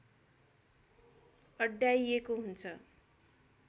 अड्याइएको हुन्छ